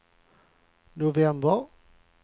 november